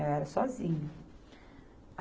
Eu era sozinha.